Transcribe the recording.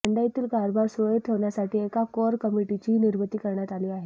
मंडईतील कारभार सुरळीत ठेवण्यासाठी एका कोअर कमिटीचीही निर्मिती करण्यात आली आहे